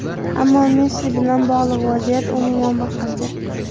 Ammo Messi bilan bog‘liq vaziyat umuman boshqacha.